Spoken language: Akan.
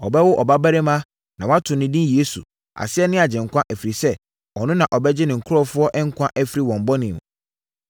Ɔbɛwo ɔbarima na wɔato no edin Yesu, aseɛ ne Agyenkwa, ɛfiri sɛ, ɔno na ɔbɛgye ne nkurɔfoɔ nkwa afiri wɔn bɔne mu.”